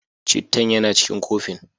Cittan yana cikin kofin.